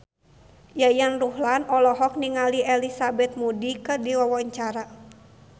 Yayan Ruhlan olohok ningali Elizabeth Moody keur diwawancara